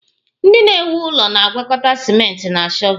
Ndị na-ewu ụlọ na-agwakọta ciment na shọvel